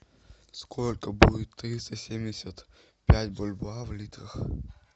сколько будет триста семьдесят пять бальбоа в литах